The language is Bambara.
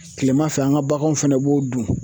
Kilema fɛ ,an ka baganw fɛnɛ b'o dun.